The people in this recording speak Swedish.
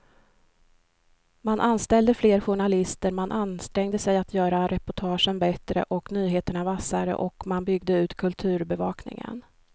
Man anställde fler journalister, man ansträngde sig att göra reportagen bättre och nyheterna vassare och man byggde ut kulturbevakningen.